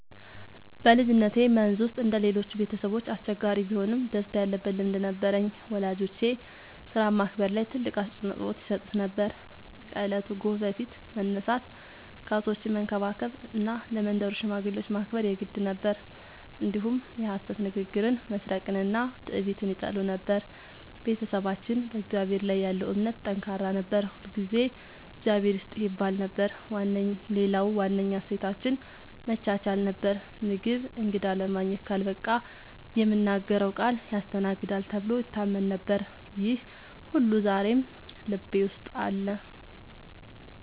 በልጅነቴ መንዝ ውስጥ እንደ ሌሎቹ ቤተሰቦች አስቸጋሪ ቢሆንም ደስታ ያለበት ልምድ ነበረኝ። ወላጆቼ ሥራን ማክበር ላይ ትልቅ አፅንዖት ይሰጡ ነበር፤ ከእለቱ ጎህ በፊት መነሳት፣ ከብቶችን መንከባከብ እና ለመንደሩ ሽማግሌዎች ማክበር የግድ ነበር። እንዲሁም የሐሰት ንግግርን፣ መስረቅንና ትዕቢትን ይጠሉ ነበር። ቤተሰባችን በእግዚአብሔር ላይ ያለው እምነት ጠንካራ ነበር፤ ሁልጊዜ “እግዚአብሔር ይስጥህ” ይባል ነበር። ሌላው ዋነኛ እሴታችን መቻቻል ነበር፤ ምግብ እንግዳ ለማግኘት ካልበቃ የምናገረው ቃል ያስተናግዳል ተብሎ ይታመን ነበር። ይህ ሁሉ ዛሬም ልቤ ውስጥ አለ።